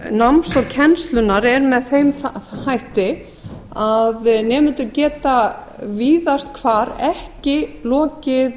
náms og kennslunnar er með þeim hætti að nemendur geta víðast hvar ekki lokið